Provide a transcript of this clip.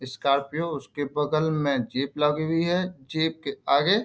स्‍कार्पियों उसके बगल में जीप लगी हुई है जीप के आगे --